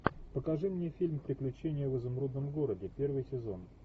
покажи мне фильм приключения в изумрудном городе первый сезон